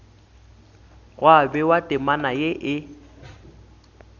gwa bewa temana ye e